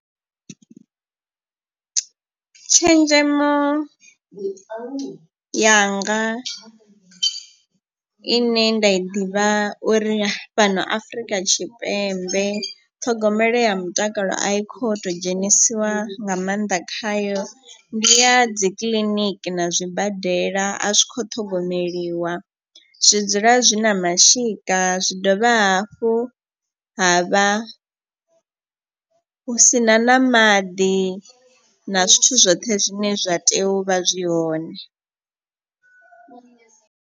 Tshenzhemo yanga i ne nda i ḓivha uri fhano afrika tshipembe ṱhogomelo ya mutakalo a i kho to dzhenisiwa nga maanḓa khayo. Ndi ya dzi kiḽiniki na zwibadela a zwi kho ṱhogomeliwa zwi dzula zwi na mashika zwi dovha hafhu ha vha hu sina na maḓi na zwithu zwoṱhe zwine zwa tea uvha zwi hone.